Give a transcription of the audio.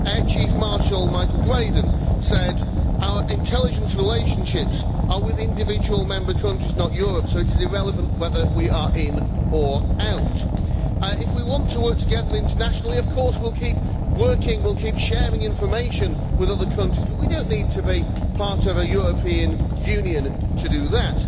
Air Chief Marshal Michael Graydon said our intelligence relationships are with individual member countries, not Europe, so it is irrelevant whether we are in or out. If we want to work together internationally, of course we will keep working with, we will keep sharing information with other countries, but we do not need to be part of a European Union to do that.